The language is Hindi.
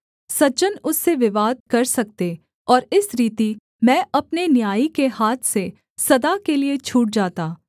सज्जन उससे विवाद कर सकते और इस रीति मैं अपने न्यायी के हाथ से सदा के लिये छूट जाता